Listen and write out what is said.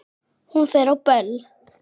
Hún fer á böll!